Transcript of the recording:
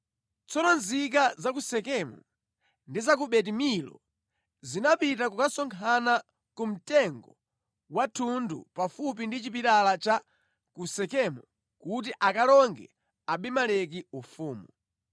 Tsono nzika za ku Sekemu ndi za ku Beti-Milo zinapita kukasonkhana ku mtengo wa thundu pafupi ndi chipilala cha ku Sekemu kuti akalonge Abimeleki ufumu.